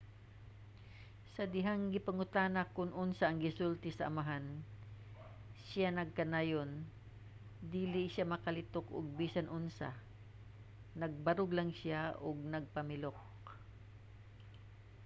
sa dihang gipangutana kon unsa ang gisulti sa amahan siya nagkanayon dili siya makalitok og bisan unsa - nagbarog lang siya ug nagpamilok.